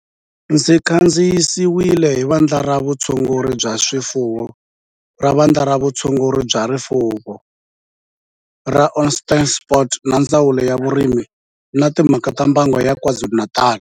Xi kandziyisiwe hi Vandla ra Vutshunguri bya swifuwo ra Vandla ra Vutshunguri bya swifuwo ra Onderstepoort na Ndzawulo ya Vurimi na Timhaka ta Mbango ya KwaZulu-Natal